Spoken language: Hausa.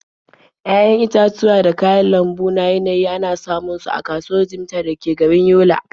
Ya'yan itatuwa da kayan lambu na yanayi ana samun su a kasuwar Jimeta da ke garin Yola.